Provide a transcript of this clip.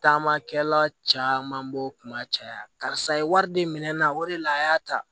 Taamakɛla caman b'o kun ma caya karisa ye wari di minɛn na o de la a y'a ta